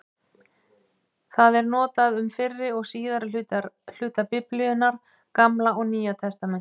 Það er notað um fyrri og síðari hluta Biblíunnar, Gamla og Nýja testamentið.